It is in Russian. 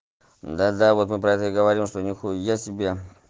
да да вот мы просто говорим что нихуясебе